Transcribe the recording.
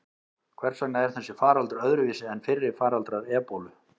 Hvers vegna er þessi faraldur öðruvísi en fyrri faraldrar ebólu?